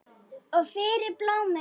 Og fyrir blómin.